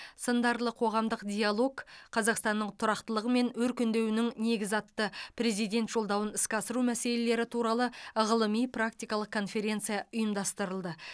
сындарлы қоғамдық диалог қазақстанның тұрақтылығы мен өркендеуінің негізі атты президент жолдауын іске асыру мәселелері туралы ғылыми практикалық конференция ұйымдастырылды